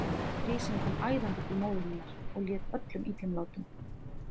Grísinn kom æðandi til móður minnar og lét öllum illum látum.